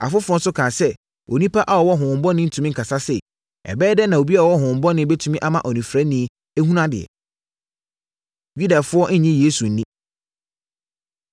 Afoforɔ nso kaa sɛ, “Onipa a ɔwɔ honhommɔne rentumi nkasa sei! Ɛbɛyɛ dɛn na obi a ɔwɔ honhommɔne bɛtumi ama onifirani ahunu adeɛ?” Yudafoɔ Nnye Yesu Nni